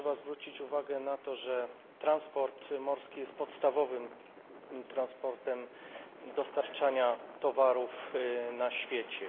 A trzeba zwrócić uwagę na to, że transport morski jest podstawowym transportem dostarczania towarów na świecie.